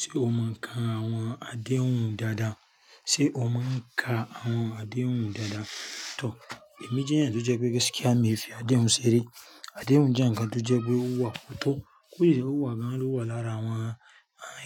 Ṣé o máa ń ka àwọn adéhùn dáadáa? Sé o máa ń ka àwọn adéhùn dáadáa? Tòr, èmi jẹ́ ẹni tí ó jẹ́ pé, kí á, mi o fí adéhùn ṣe re. Adéhùn jẹ́ ǹkan tó jẹ́ pé ó wà tó. Kósise ó wà gan-an ló wà lára àwọn